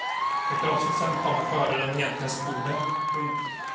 Förkrosselsen kommer före den egentliga skulden. punkt